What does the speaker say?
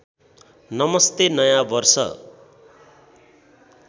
नमस्ते नयाँ वर्ष